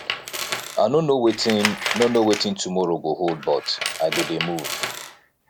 i no know wetin no know wetin tomorrow go hold but i go dey move